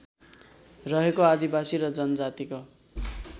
रहेको आदिवासी र जनजातिको